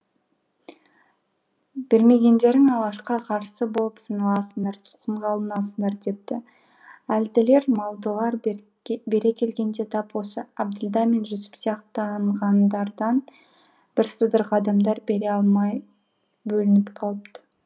бермегендерің алашқа қарсы болып саналасыңдар тұтқынға алынасыңдар депті әлділер малдылар бере келгенде тап осы әбділда мен жүсіп сияқтанғандардан бірсыдырғы адамдар бере алмай бөлініп қалыпты